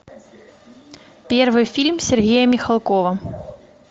первый фильм сергея михалкова